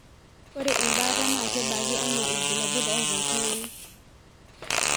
Ore embata na kebaki anaa ibulabul ota oltungani.